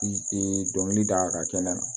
dɔnkili da ka kɛnɛ kan